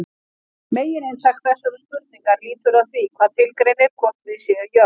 Megininntak þessarar spurningar lítur að því hvað tilgreinir hvort við séum jöfn.